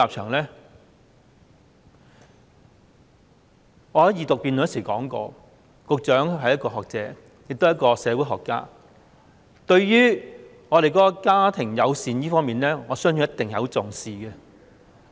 我在《條例草案》二讀辯論時說過，局長是一位學者，亦是一位社會學家，對於家庭友善，我相信他一定很重視。